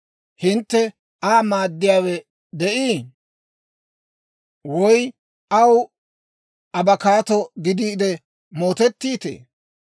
Hintte Aa maaddiyaawe de'ii? Woy aw abakkaatto gidiide mootettiitee?